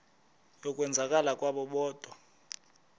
yokwenzakala kwabo kodwa